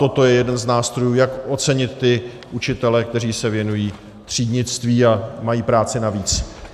Toto je jeden z nástrojů, jak ocenit ty učitele, kteří se věnují třídnictví a mají práci navíc.